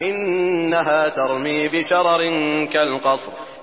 إِنَّهَا تَرْمِي بِشَرَرٍ كَالْقَصْرِ